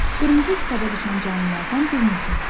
Qırmızı kitaba düşən canlılardan bir neçəsi.